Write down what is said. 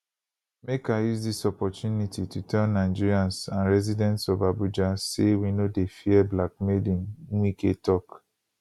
make i use dis opportunity to tell nigerians and residents of abuja say we no dey fear blackmailing wike tok